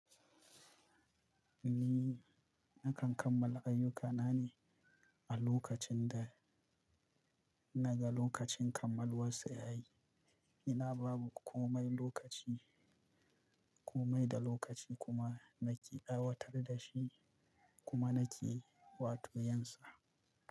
Ni nakan kammala ayyuka na ne a lokacin da--ina ga lokacin kammaluwarsa ya yi. Ina ba ma komai lokaci, komai da lokaci kuma nake aiwatar da shi kuma nake wato yin sa.